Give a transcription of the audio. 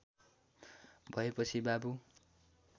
भएपछि बाबु